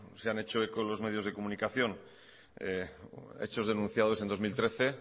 se han hecho eco los medios de comunicación hechos denunciados en dos mil trece